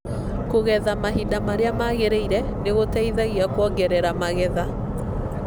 Kũgetha mahinda marĩa magĩrĩire nĩ gũteithagia kuongerera magetha.